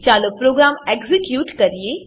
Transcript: ચાલો programme execute કરીએ